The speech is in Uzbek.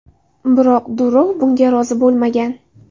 Biroq Durov bunga rozi bo‘lmagan.